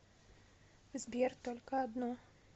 сбер только одно